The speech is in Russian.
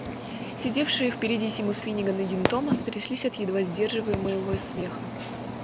сидевшие впереди симус финниган и дин томас тряслись от едва сдерживаемого смеха